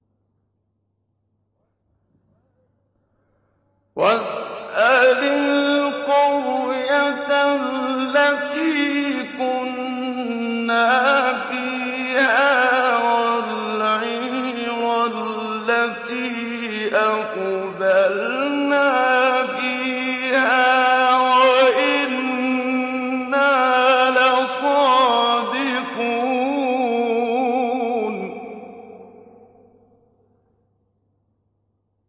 وَاسْأَلِ الْقَرْيَةَ الَّتِي كُنَّا فِيهَا وَالْعِيرَ الَّتِي أَقْبَلْنَا فِيهَا ۖ وَإِنَّا لَصَادِقُونَ